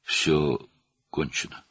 Hər şey bitdi.